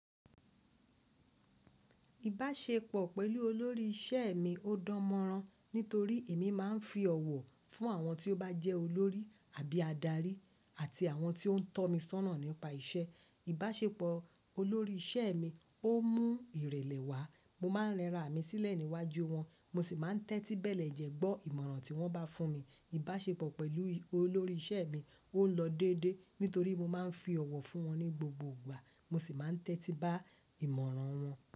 Ìbáṣepọ̀ pẹ̀lú olórí ìṣe mi ó dáń mọ́rán nítorí èmi máà ń fi ọ̀wọ̀ fún àwọn tí ó bá jẹ́ olórí àbí adarí àti àwọn tí ó ń tọ́ mi sọ́na nípa ìṣe. Ìbáṣepọ̀ olórí ìṣe mi ó mú ìrẹ̀lẹ̀ wá. Mo máa ń rẹra mi sílẹ̀ níwájú wọn, mo sì máa ń tẹ́tí bẹ́ẹ̀ lẹ́jẹ́ gbọ́ ìmọ̀ràn tí wọ́n bá fún mi. Ìbáṣepọ̀ pẹ̀lú olórí ìṣe mi ó lọ déédéé nítorí mo máa ń fi ọ̀wọ̀ fún wọn ní gbogbo ìgbà, mo sì máa ń tẹ́tí bá ìmọ̀ràn wọn.